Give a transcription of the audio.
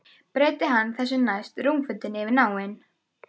Breiddi hann þessu næst rúmfötin yfir náinn.